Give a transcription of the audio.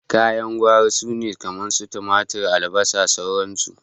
Kayan gwari sune kamar su tumatur, albasa, sauran su.